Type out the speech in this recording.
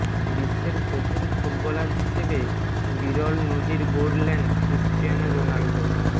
বিশ্বের প্রথম ফুটবলার হিসেবে বিরল নজির গড়লেন ক্রিশ্চিয়ানো রোনাল্ডো